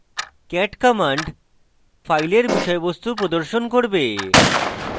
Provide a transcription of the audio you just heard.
cat command file বিষয়বস্তু প্রদর্শন করবে